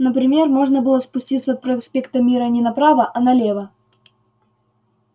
например можно было спуститься от проспекта мира не направо а налево